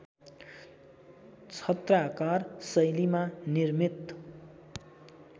छत्राकार शैलीमा निर्मित